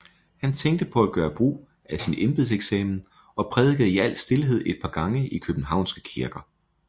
Han tænkte på at gøre brug af sin embedseksamen og prædikede i al stilhed et par gange i Københavnske kirker